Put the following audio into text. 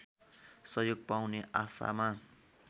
सहयोग पाउने आशामा